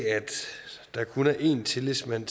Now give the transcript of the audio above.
der kun er en tillidsmand